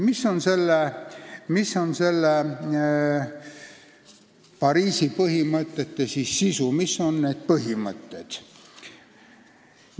Mis on Pariisi põhimõtete sisu, mis need põhimõtted on?